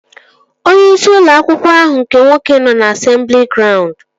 Onyeisi ụlọ akwụkwọ ahụ nke nwoke nọ na asemblị graund